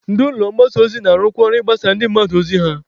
Ndị ụlọ mgbasa ozi na-arụkwa ọrụ ịgbasara ndị mmadụ ozi ha.